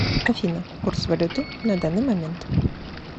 афина курс валюты на данный момент